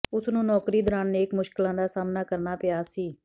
ਉਸ ਨੂੰ ਨੌਕਰੀ ਦੌਰਾਨ ਅਨੇਕਾਂ ਮੁਸ਼ਕਲਾਂ ਦਾ ਸਾਹਮਣਾ ਕਰਨਾ ਪਿਆ ਸੀ